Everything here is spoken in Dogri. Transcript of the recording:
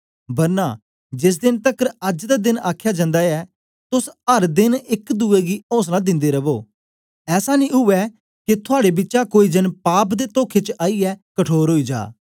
बरना जेस देन तकर अज्ज दा देन आखया जन्दा ऐ तोस अर देन एक दुए गी औसला दिन्दे रवो ऐसा नेई उवै के थुआड़े बिचा कोई जन पाप दे तोखे च आईयै कठोर ओई जा